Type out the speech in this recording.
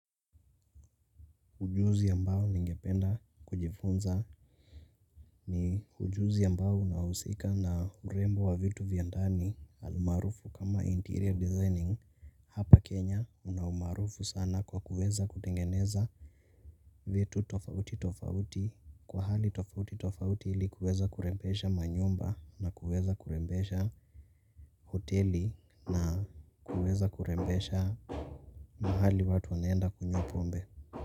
Ujuzi ambao ningependa kujifunza ni ujuzi ambao unahusika na urembo wa vitu vya ndani almaarufu kama interior designing hapa Kenya kuna umaarufu sana kwa kuweza kutengeneza vitu tofauti tofauti kwa hali tofauti tofauti ili kuweza kurembesha manyumba na kuweza kurembesha hoteli na kuweza kurembesha mahali watu wanaenda kunywa pombe.